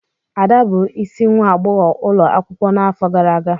Ada bụ isi nwa agbọghọ ulo akwukwo nʻafọ gara aga.